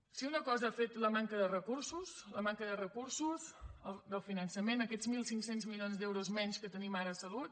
si una cosa ha fet la manca de recursos la manca de recursos del finançament aquests mil cinc cents milions d’euros menys que tenim ara a salut